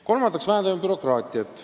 Kolmandaks vähendame bürokraatiat.